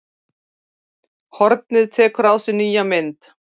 Hornið tekur á sig mynd